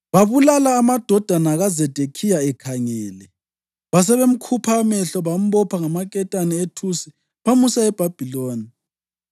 Babulala amadodana kaZedekhiya ekhangele. Basebemkhupha amehlo, bambopha ngamaketane ethusi bamusa eBhabhiloni.